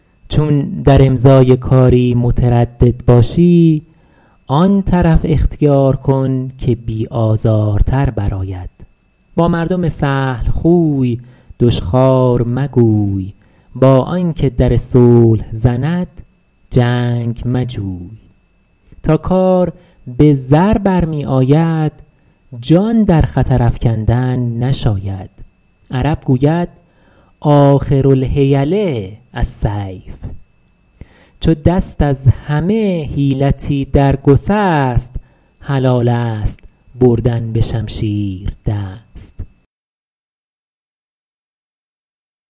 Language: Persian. چون در امضای کاری متردد باشی آن طرف اختیار کن که بی آزارتر بر آید با مردم سهل خوی دشخوار مگوی با آن که در صلح زند جنگ مجوی تا کار به زر برمی آید جان در خطر افکندن نشاید عرب گوید آخر الحیل السیف چو دست از همه حیلتی در گسست حلال است بردن به شمشیر دست